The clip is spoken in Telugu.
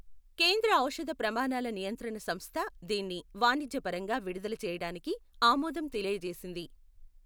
కేంద్ర ఔషద ప్రమాణాల నియంత్రణ సంస్థ దీన్ని వాణిజ్యపరంగా విడుదల చేయటానికి ఆమోదం తెలియజేసింది.